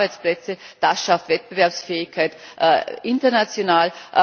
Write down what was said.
Das schafft Arbeitsplätze, das schafft Wettbewerbsfähigkeit international.